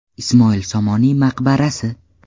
Ismoil Somoniy maqbarasi.